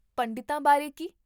ਪੰਡਿਤਾਂ ਬਾਰੇ ਕੀ?